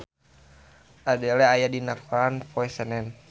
Adele aya dina koran poe Senen